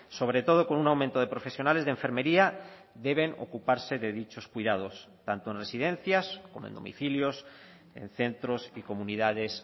sobre todo con un aumento de profesionales de enfermería deben ocuparse de dichos cuidados tanto en residencias como en domicilios en centros y comunidades